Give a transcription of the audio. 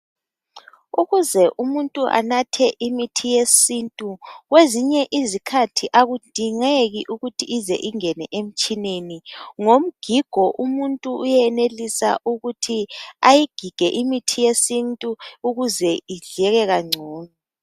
Ukuze umuntu anathe imithi yesintu kwezinye izikhathi akudingeki ukuthi ize ingene emtshineni. Ngomgigo umuntu uyenelisa ukuthi ayigige ukuze idleke kangcono.